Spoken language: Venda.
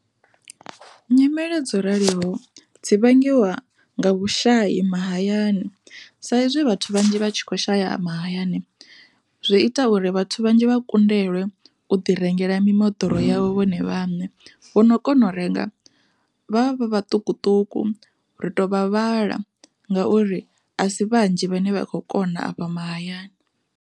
Nyimele dzo raliho dzi vhangiwa nga vhushayi mahayani, saizwi vhathu vhanzhi vha tshi kho shaya mahayani zwi ita uri vhathu vhanzhi vha kundelwe uḓi rengela mimoḓoro yavho vhone vhaṋe, vho no kona u renga vha vha vha ṱukuṱuku ri tovha vhala ngauri a si vhanzhi vhane vha kho kona afha mahayani.